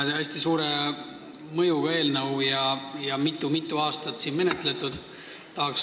See on hästi suure mõjuga eelnõu, mida on mitu-mitu aastat siin menetletud.